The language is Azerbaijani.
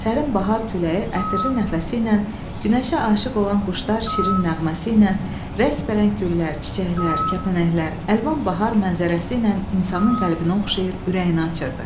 Sərin bahar küləyi ətirli nəfəsiylə, günəşə aşiq olan quşlar şirin nəğməsiylə, rəngbərəng güllər, çiçəklər, kəpənəklər, əlvan bahar mənzərəsiylə insanın qəlbini oxşayır, ürəyini açırdı.